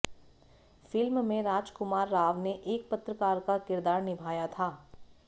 film में राजकुमार राव ने एक पत्रकार का किरदार निभाया था